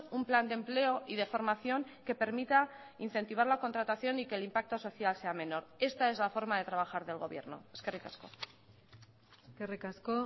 un plan de empleo y de formación que permita incentivar la contratación y que el impacto social sea menor esta es la forma de trabajar del gobierno eskerrik asko eskerrik asko